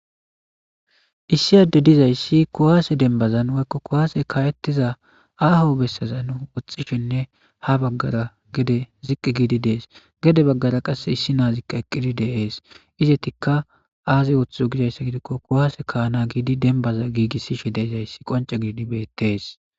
Issi adde dizayssi kuwaase denbazan woykko kuwaase kawettiza aaho bessazan woxxishenne ha baggara gede ziqqi giidi dees. Gede baggara qasse issi na7azikka eqqidi de7ees. Izetikka aaze wothizo gizayssa gidikko kuwaase kaana giidi denbaza giigissishe deezayssi qonce giidi bettees.